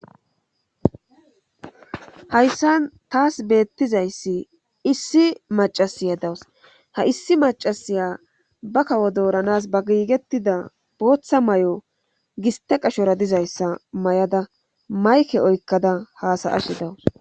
hayssa taas beettizayssi issi macasiya dawus ha issi macasiya ba kawo dooranas ba giigettida booththa may7o giste qashora dizayssa may7ada mayke oykkada haasayashi dawus.